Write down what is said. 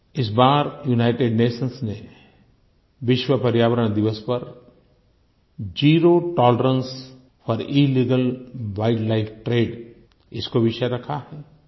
इस बार United Nations ने विश्व पर्यावरण दिवस पर zero tolerance for illegal wildlife trade इसको विषय रखा है